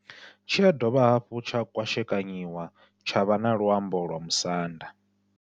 Tshi ya dovha hafhu tsha kwashekanyiwa tsha vha na luambo lwa Musanda.